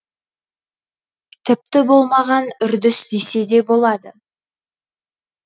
тіпті болмаған үрдіс десе де болады